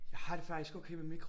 Jeg har det faktisk okay med mikro